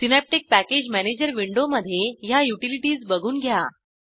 synaptic package manager विंडोमधे ह्या utilities बघून घ्या